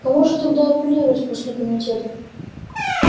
к кому же тогда апеллировать после комитета